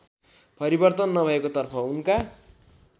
परिवर्तन नभएकोतर्फ उनका